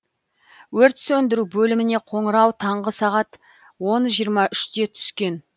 өрт сөндіру бөліміне қоңырау таңғы сағат он жиырма үште түскен